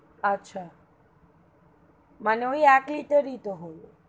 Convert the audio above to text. আচ্ছা মানে ওই এক liter ই তো হলো.